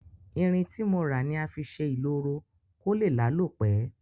Irin tí mo rà ni a fi sé ìloro ko lé lálò pe